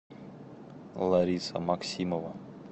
лариса максимова